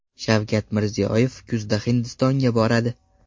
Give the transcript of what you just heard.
Shavkat Mirziyoyev kuzda Hindistonga boradi.